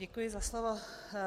Děkuji za slovo.